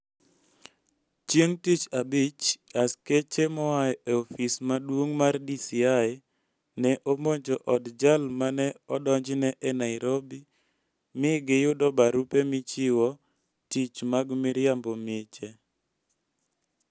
Chieng' Tich Abich, askeche moa e ofis maduong' mar DCI ne omonjo od jal ma ne odonjne e Nairobi mi giyudo barupe michiwo tich mag miriambo miche.